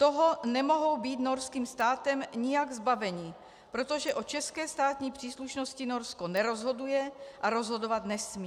Toho nemohou být norským státem nijak zbaveni, protože o české státní příslušnosti Norsko nerozhoduje a rozhodovat nesmí.